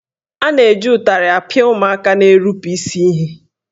A na-eji ụtarị apịa ụmụaka na-erupu isi ihe.